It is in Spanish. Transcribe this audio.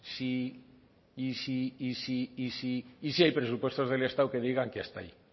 si y siy si hay presupuestos del estado que digan que hasta ahí